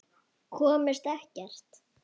Komust ekkert.